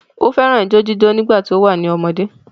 Ó fẹ́ràn ijó jíjó nígbà tí ó wà ní ọmọdé.